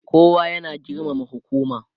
kowa ya na girmama hukuma